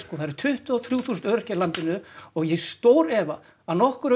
það eru tuttugu og þrjú þúsund öryrkjar í landinu og ég stórefa að nokkur